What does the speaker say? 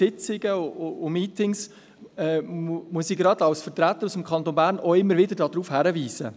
Als Vertreter aus dem Kanton Bern muss ich gerade in Sitzungen und Meetings immer wieder darauf hinweisen.